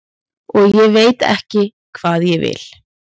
og ég veit ekki hvað ég vil.